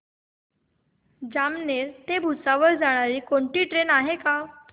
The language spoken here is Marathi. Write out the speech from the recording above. जामनेर ते भुसावळ जाणारी कोणती ट्रेन आहे का